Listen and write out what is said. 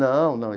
Não, não.